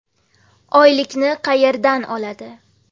Oylikni qayerdan oladi?